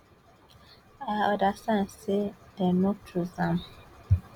i understand say dem no choose am